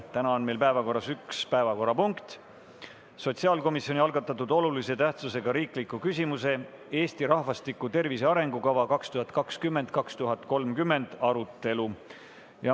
Täna on meil päevakorras üks punkt, sotsiaalkomisjoni algatatud olulise tähtsusega riikliku küsimuse "Eesti rahvastiku tervise arengukava 2020–2030" arutelu.